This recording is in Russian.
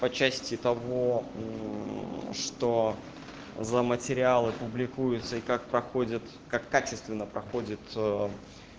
по части того что за материалы публикуются и как проходят как качественно проходят